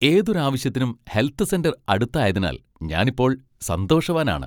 ഏതൊരു ആവശ്യത്തിനും health centre അടുത്തായതിനാൽ ഞാൻ ഇപ്പോൾ സന്തോഷവാനാണ്.